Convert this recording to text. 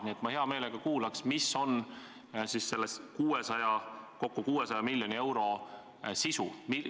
Nii et ma hea meelega kuulaks, mis on selle kokku 600 miljoni euro sisu.